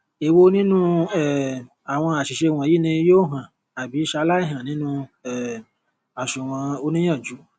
èwo nínu um àwọn àṣìṣe wọnyí ni yóò hàn àbí ṣalái hàn nínu um àsunwon oníìyànjú